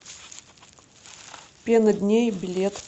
пена дней билет